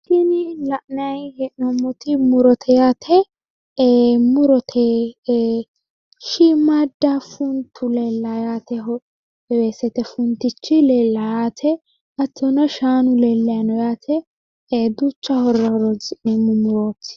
Tini la’nayi hee’noommoti murote yaate. Murote shiimaadda funtu leellawo yaate weesete funtichi leellawo yaate hattono shaanu lellayi no yaate duucha horora horonsi’neemmo murooti.